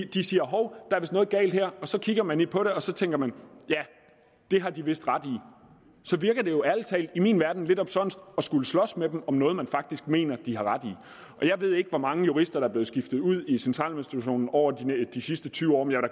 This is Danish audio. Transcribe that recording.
de siger hov der er noget galt her og så kigger man lidt på det og så tænker man ja det har de vist ret i så virker det jo ærlig talt i min verden lidt omsonst at skulle slås med dem om noget man faktisk mener de har ret i jeg ved ikke hvor mange jurister der er blevet skiftet ud i centraladministrationen over de sidste tyve år